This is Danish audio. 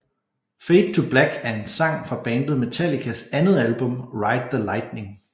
Fade To Black er en sang fra bandet Metallicas andet album Ride the Lightning